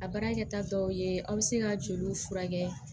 A baarakɛta dɔw ye aw bɛ se ka joli furakɛ